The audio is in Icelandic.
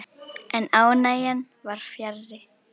En ánægjan var fjarri.